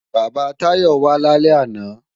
Bàbá Táyọ̀ wá lálẹ́ àná